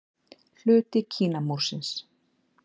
Hluti Kínamúrsins.